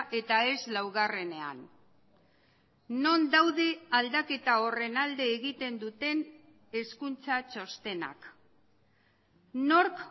eta ez laugarrenean non daude aldaketa horren alde egiten duten hezkuntza txostenak nork